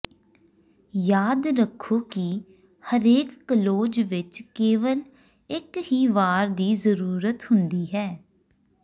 ਯਾਦ ਰੱਖੋ ਕਿ ਹਰੇਕ ਕਲੋਜ਼ ਵਿੱਚ ਕੇਵਲ ਇੱਕ ਹੀ ਵਾਕ ਦੀ ਜਰੂਰਤ ਹੁੰਦੀ ਹੈ